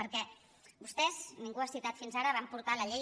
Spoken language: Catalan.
perquè vostès ningú ho ha citat fins ara van portar la llei